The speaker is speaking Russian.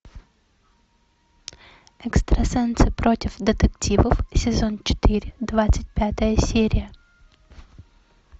экстрасенсы против детективов сезон четыре двадцать пятая серия